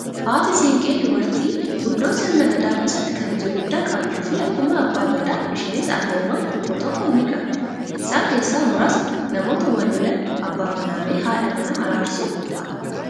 Haati siinqee dubartii guddoo sirna gadaa keessatti kabaja guddaa qabduu fi akkuma abbaa gadaa isheenis aangoowwan tokko tokko ni qabdi. Isaan keessaa muraasni namoota wal Lola abbaa manaa fi haadha manaa araasuu fa'ii.